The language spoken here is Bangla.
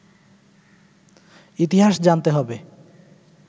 ইতিহাস জানতে হবে